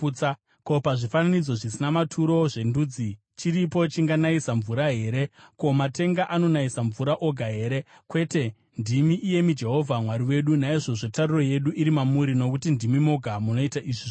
Ko, pazvifananidzo zvisina maturo zvendudzi, chiripo chinganayisa mvura here? Ko, matenga, anonayisa mvura oga here? Kwete, ndimi, iyemi Jehovha Mwari wedu. Naizvozvo tariro yedu iri mamuri, nokuti ndimi moga munoita izvi zvose.